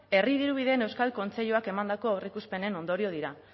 herri dirubideen euskal kontseiluak emandako aurreikuspenen ondorio dira